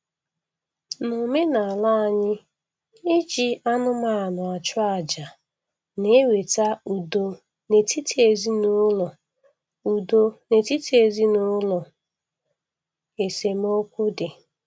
N'omenala anyị iji anụmanụ achụ àjà na-eweta udo n’etiti ezinụlọ udo n’etiti ezinụlọ esemokwu dị